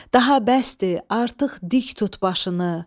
Daha bəsdir, artıq dik tut başını.